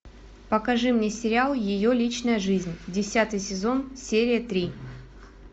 покажи мне сериал ее личная жизнь десятый сезон серия три